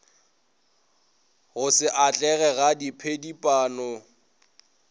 go se atlege ga diphedipano